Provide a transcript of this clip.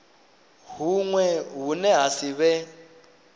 huṅwe hune ha si vhe